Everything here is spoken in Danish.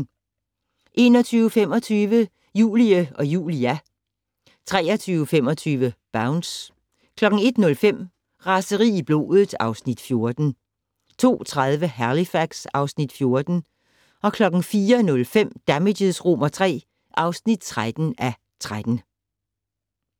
21:25: Julie & Julia 23:25: Bounce 01:05: Raseri i blodet (Afs. 14) 02:30: Halifax (Afs. 14) 04:05: Damages III (13:13)